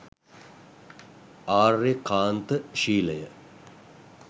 ආර්යකාන්ත ශීලය